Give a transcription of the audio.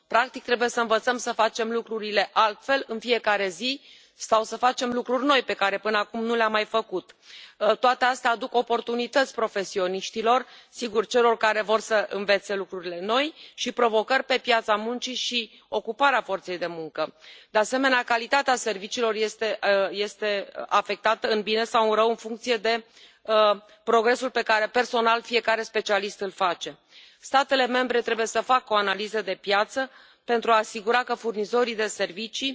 Practic, trebuie să învățăm să facem lucrurile altfel în fiecare zi sau să facem lucruri noi, pe care până acum nu le am mai făcut. Toate astea aduc oportunități profesioniștilor sigur, celor care vor să învețe lucrurile noi și provocări pe piața muncii și în domeniul ocupării forței de muncă. De asemenea, calitatea serviciilor este afectată în bine sau în rău în funcție de progresul pe care, personal, fiecare specialist îl face. Statele membre trebuie să facă o analiză de piață pentru a asigura că furnizorii de servicii